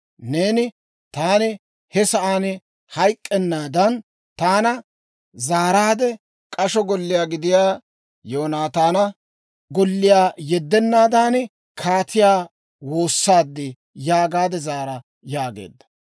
Neeni, ‹Taani he sa'aan hayk'k'ennaadan, taana zaaraadde k'asho golliyaa gidiyaa Yoonataana golliyaa yeddennaadan, kaatiyaa woossaad› yaagaade zaara» yaageedda.